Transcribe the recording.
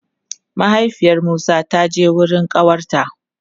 Mahaifiyar Musa ta je wurin ƙawarta.